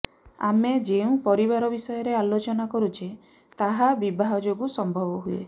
ଆମେ ଯେଉଁ ପରିବାର ବିଷୟରେ ଆଲୋଚନା କରୁଛେ ତାହା ବିବାହ ଯୋଗୁ ସମ୍ଭବ ହୁଏ